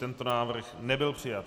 Tento návrh nebyl přijat.